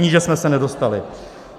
Níže jsme se nedostali.